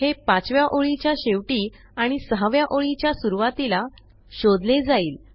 हे पाचव्या ओळीच्या शेवटी आणि सहाव्या ओळीच्या सुरूवातीला शोधले जाईल